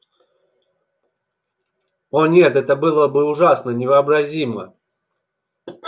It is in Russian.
о нет это было бы ужасно невообразимо